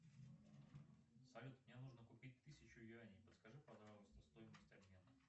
салют мне нужно купить тысячу юаней подскажи пожалуйста стоимость обмена